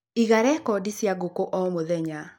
Iga recondi cia ngũkũ omũthenya.